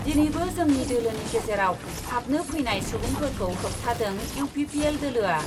दिनैबो जोंनि दोलोनि गेजेराव हाबनो फैनाय सुबुंफोरखौ होबथादों इउ पि पि एल दोलोआ।